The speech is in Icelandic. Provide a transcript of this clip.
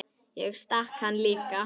Ég stakk hann líka.